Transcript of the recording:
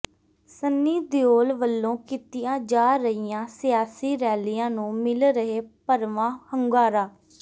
ਸੰਨੀ ਦਿਓਲ ਵੱਲੋਂ ਕੀਤੀਆਂ ਜਾ ਰਹੀਆਂ ਸਿਆਸੀ ਰੈਲੀਆਂ ਨੂੰ ਮਿਲ ਰਿਹੈ ਭਰਵਾਂ ਹੁੰਗਾਰਾ